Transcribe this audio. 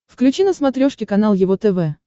включи на смотрешке канал его тв